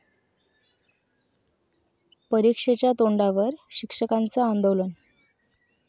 परीक्षेच्या तोंडावर शिक्षकांचं आंदोलन